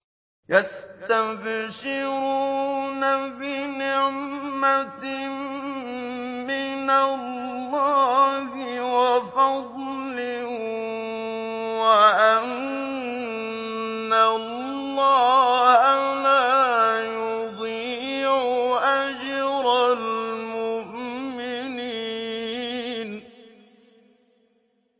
۞ يَسْتَبْشِرُونَ بِنِعْمَةٍ مِّنَ اللَّهِ وَفَضْلٍ وَأَنَّ اللَّهَ لَا يُضِيعُ أَجْرَ الْمُؤْمِنِينَ